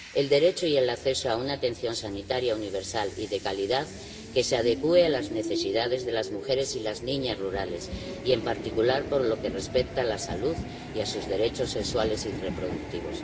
el derecho y el acceso a una atención sanitaria universal y de calidad, que se adecúe a las necesidades de las mujeres y las niñas rurales y, en particular, por lo que respecta a la salud y a sus derechos sexuales y reproductivos